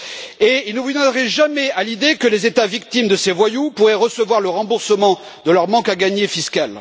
Et il ne vous viendrait jamais à l'idée que les États victimes de ces voyous pourraient recevoir le remboursement de leur manque à gagner fiscal.